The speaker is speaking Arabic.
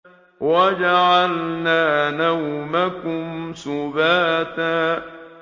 وَجَعَلْنَا نَوْمَكُمْ سُبَاتًا